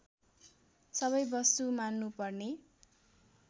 सबै वस्तु मान्नुपर्ने